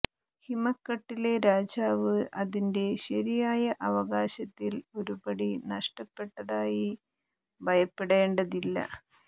ഹിമക്കട്ടിലെ രാജാവ് അതിന്റെ ശരിയായ അവകാശത്തിൽ ഒരു പടി നഷ്ടപ്പെട്ടതായി ഭയപ്പെടേണ്ടതില്ല